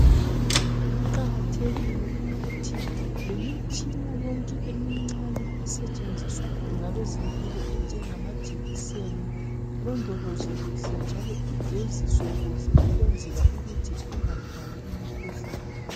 Kuqakathekile ukuthi lemitshina yonke emincinyane, esetshenziswa ngamadokotela, isetshenziswe kuhle njalo ilondolozwe kuhle, ukuze ingathwali imikhuhlane.